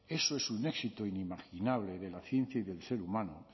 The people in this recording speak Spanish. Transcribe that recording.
eso es un éxito inimaginable de la ciencia y del ser humano